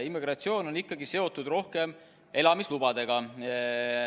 Immigratsioon on ikkagi rohkem seotud elamislubadega.